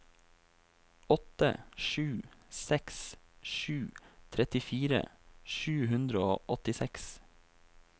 åtte sju seks sju trettifire sju hundre og åttiseks